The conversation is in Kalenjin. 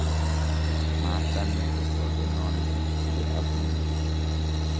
machame kotobenon biik ye abune